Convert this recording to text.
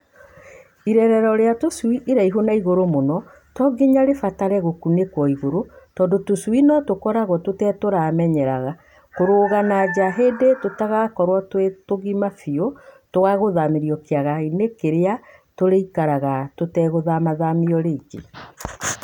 Irerero rĩa tũcui iraihu na igũrũ mũno to nginya rĩbatare gũkunĩkwo igũrũ, tondũ tũcui no tũkorwo tũtetũramenya kũrũga na nja hĩndĩ tũgakorwo twĩ tũgima biũ twagũthamĩrio kĩaga -inĩ kĩrĩa tũrĩikaraga tũtegũthamiothamio rĩngĩ.